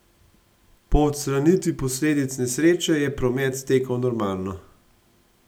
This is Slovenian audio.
Po odstranitvi posledic nesreče je promet stekel normalno.